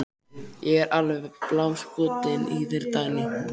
Ég er alveg bálskotinn í þér, Dagný!